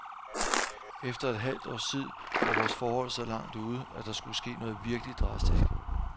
Efter et halvt års tid var vores forhold så langt ude, at der skulle ske noget virkelig drastisk.